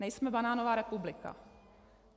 Nejsme banánová republika.